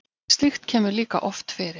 slíkt kemur líka oft fyrir